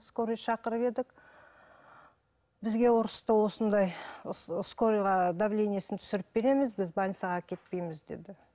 скорый шақырып едік бізге ұрысты осындай скорыйға давлениесін түсіріп береміз біз больницаға әкетпейміз деді